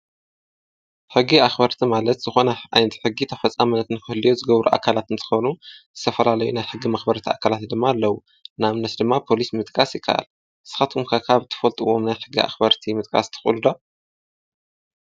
ሕጊ ኣኽበርቲ ማለት ዝኾነ ዓይነት ሕጊ ተፈፃምነት ንክህልዎ ዝገብሩ ኣካላት እንትኾኑ ዝተፈላለዩ ናይ ሕጊ መኽበርቲ ድማ ኣካላት ኣለዉ፡፡ ንኣብነት ድማ ፖሊስ ምጥቃስ ይከኣል፡፡ ንስኻትኩም ከ ካብ ትፈልጥዎም ናይ ሕጊ መኽበርቲ ምጥቃስ ትኽእሉ ዶ?